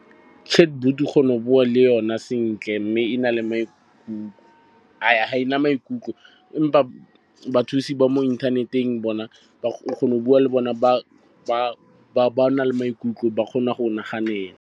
Chatbot o kgona go bua le yona sentle mme e na le maikutlo, ga e na maikutlo. Empa bathusi ba mo inthaneteng bona o kgona go bua le bona, ba na le maikutlo, ba kgona go naganela.